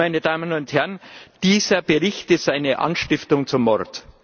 Meine Damen und Herren, dieser Bericht ist eine Anstiftung zum Mord.